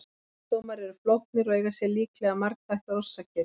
Geðsjúkdómar eru flóknir og eiga sér líklega margþættar orsakir.